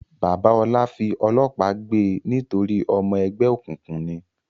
Bàbá Ọlá fi ọlọ́pàá gbe nítorí ọmọ ẹgbẹ́ òkùnkùn ni?